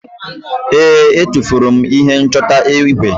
ee, e tufuru m ihe nchọta igwe